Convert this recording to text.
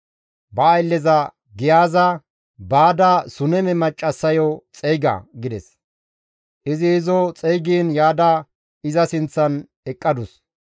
Ba aylleza Giyaaze, «Baada Suneme maccassayo xeyga» gides. Izi izo xeygiin yaada iza sinththan eqqadus.